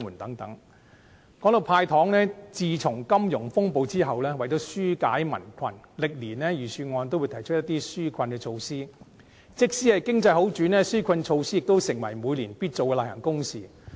談到"派糖"，自金融風暴後，為了紓解民困，歷年的預算案都會提出一些紓困措施，即使經濟好轉，紓困措施亦成為每年必做的例行公事。